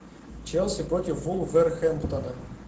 челси против вулверхэмптона